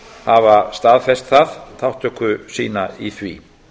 hafa staðfest það þátttöku sína í því